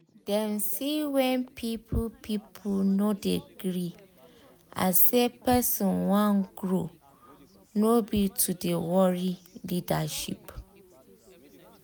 dem see wen people people no de gree as say person wan grow no be to de worry leadership